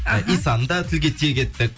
ы исаны да тілге тиек еттік